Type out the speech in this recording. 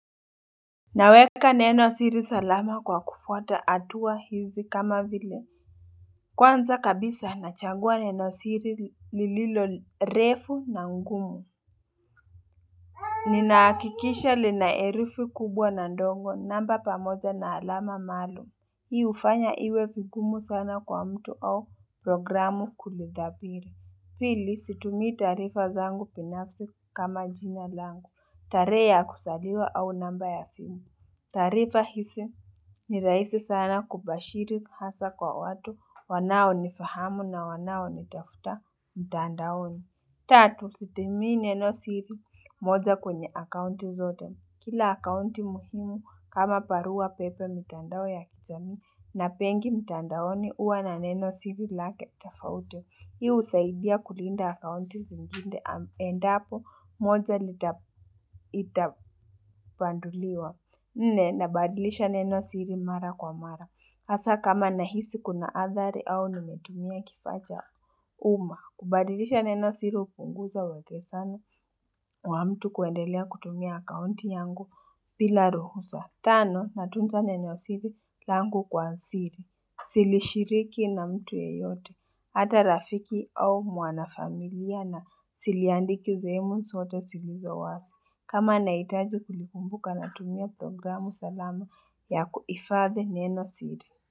Naweka neno siri salama kwa kufwata hatua hizi kama vile Kwanza kabisa nachagua neno siri lililo refu na ngumu Ninahakikisha lina herufu kubwa na ndogo namba pamoja na alama maalum Hii hufanya iwe vingumu sana kwa mtu au programu kulidhabili pili situmii taarifa zangu binafsi kama jina langu tarehe ya kuzaliwa au namba ya simu taarifa hizi ni rahisi sana kubashiri hasa kwa watu wanao nifahamu na wanao nitafuta mtandaoni. Tatu sitemii neno siri moja kwenye akaunti zote. Kila akaunti muhimu kama barua pepe mitandao ya kijamii na pengi mitandaoni huwa na neno siri lake tafauti. Hii husaidia kulinda akaunti zingine endapo moja lita ita panduliwa. Nne, nabadilisha neno siri mara kwa mara. Hasa kama nahisi kuna athari au nimetumia kifaa cha uma. Kubadilisha neno siri hupunguza uwekesano wa mtu kuendelea kutumia akaunti yangu bila ruhusa. Tano, natunza neno siri langu kwa siri. Sirishiriki na mtu yeyote. Hata rafiki au mwana familia na siliandiki sehemu zoto zilizo wasi. Kama nahitaji kilikumbuka natumia programu salama ya kuifadhi neno siri.